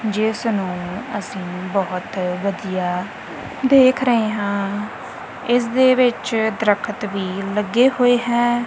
ਜਿਸ ਨੂੰ ਅਸੀਂ ਬਹੁਤ ਵਧੀਆ ਦੇਖ ਰਹੇ ਹਾਂ ਇਸ ਦੇ ਵਿੱਚ ਦਰਖਤ ਵੀ ਲੱਗੇ ਹੋਏ ਹੈ।